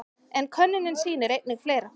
En könnunin sýnir einnig fleira.